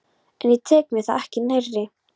En ég tek mér það ekki nærri.